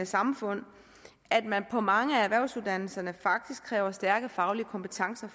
samfund at man på mange af erhvervsuddannelserne kræver stærke faglige kompetencer